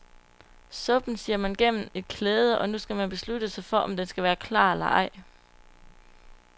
Suppen sier man gennem et klæde, og nu skal man beslutte sig for, om den skal være klar eller ej.